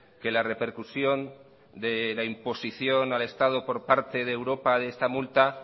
que la repercusión de la imposición al estado por parte de europa de esta multa